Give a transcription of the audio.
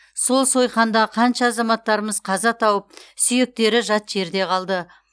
сол сойқанда қаншама азаматтарымыз қаза тауып сүйектері жат жерде қалды